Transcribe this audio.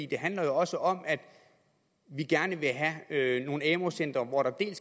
det handler jo også om at vi gerne vil have nogle amu centre hvor der ikke